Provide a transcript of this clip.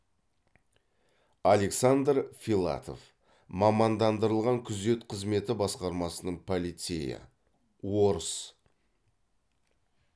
александр филатов мамандандырылған күзет қызметі басқармасының полицейі орыс